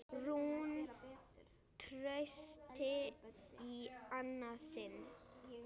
Rúin trausti í annað sinn.